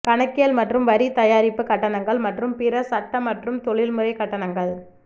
கணக்கியல் மற்றும் வரி தயாரிப்பு கட்டணங்கள் மற்றும் பிற சட்ட மற்றும் தொழில்முறை கட்டணங்கள்